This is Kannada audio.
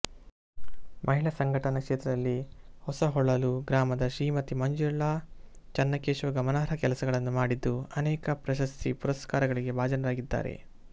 ಮಹಿಳಾ ಸಂಘಟನಾ ಕ್ಷೇತ್ರದಲ್ಲಿ ಹೊಸಹೊಳಲು ಗ್ರಾಮದ ಶ್ರೀಮತಿ ಮಂಜುಳಾ ಚನ್ನಕೇಶವ ಗಮನಾರ್ಹ ಕೆಲಸಗಳನ್ನು ಮಾಡಿದ್ದು ಅನೇಕ ಪ್ರಶಸ್ತಿ ಪುರಸ್ಕಾರಗಳಿಗೆ ಭಾಜನರಾಗಿದ್ದಾರೆ